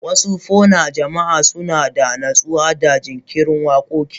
Wasu po na jama'a suna da natsuwa da jinkirin waƙoƙi.